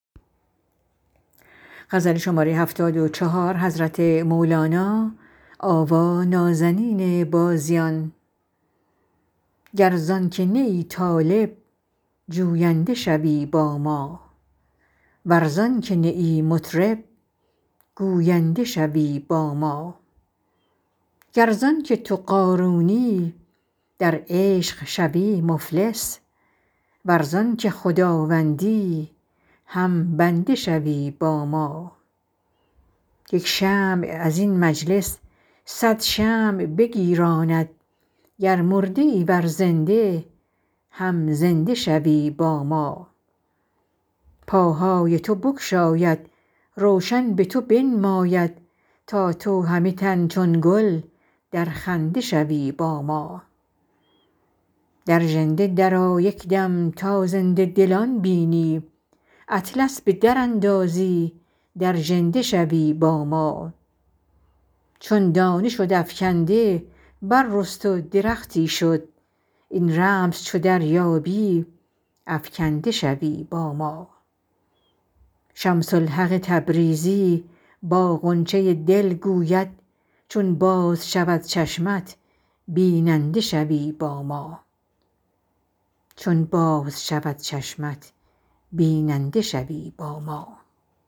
گر زان که نه ای طالب جوینده شوی با ما ور زان که نه ای مطرب گوینده شوی با ما گر زان که تو قارونی در عشق شوی مفلس ور زان که خداوندی هم بنده شوی با ما یک شمع از این مجلس صد شمع بگیراند گر مرده ای ور زنده هم زنده شوی با ما پاهای تو بگشاید روشن به تو بنماید تا تو همه تن چون گل در خنده شوی با ما در ژنده درآ یک دم تا زنده دلان بینی اطلس به دراندازی در ژنده شوی با ما چون دانه شد افکنده بررست و درختی شد این رمز چو دریابی افکنده شوی با ما شمس الحق تبریزی با غنچه دل گوید چون باز شود چشمت بیننده شوی با ما